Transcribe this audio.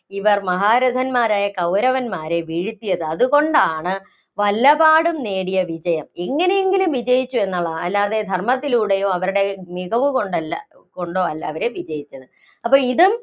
ഇവര്‍ മഹാരഥന്മാരായ കൗരവന്മാരെ വീഴ്ത്തിയത്. അതുകൊണ്ടാണ് വല്ലപാടും നേടിയ വിജയം എങ്ങിനെയെങ്കിലും വിജയിച്ചു എന്നുള്ളതാണ്. അല്ലാതെ ധര്‍മ്മത്തിലൂടെയോ, അവരുടെ മികവുകൊണ്ടല്ല, കൊണ്ടോ അല്ല അവര് വിജയിച്ചത്. അപ്പോ ഇതും